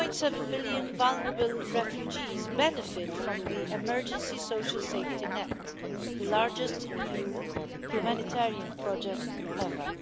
1.7 million vulnerable refugees benefit from the emergency social safety net, the largest EU humanitarian project ever.